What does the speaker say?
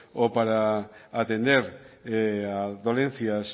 o para atender dolencias